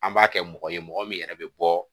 An b'a kɛ mɔgɔ ye mɔgɔ min yɛrɛ bɛ bɔ